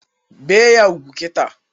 Bee ya ugwu kịta!